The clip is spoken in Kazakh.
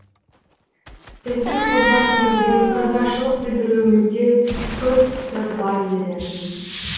біздің отбасымызбен ырзашылық білдіруімізде көп сыр бар еді